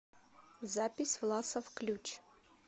запись власов ключ